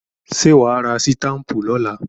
Ṣé wà á ra sítápù lọ́la?